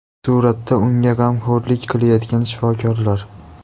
Suratda unga g‘amxo‘rlik qilayotgan shifokorlar.